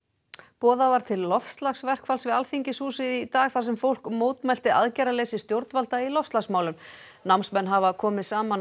boðað var til loftslagsverkfalls við Alþingishúsið í dag þar sem fólk mótmælti aðgerðarleysi stjórnvalda í loftslagsmálum námsmenn hafa komið saman á